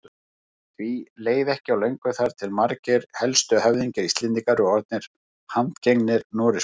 Því leið ekki á löngu þar til margir helstu höfðingjar Íslendinga voru orðnir handgengnir Noregskonungi.